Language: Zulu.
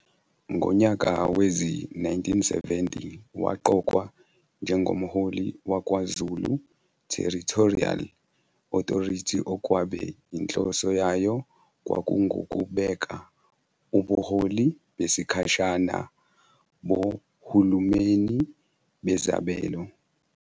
Ngonyaka wezi-1970 waqokwa njengomholi waKwaZulu Territorial Authority okwabe inhloso yayo kwakungukubeka uboholi besikhashana bohulumeni bezabelo.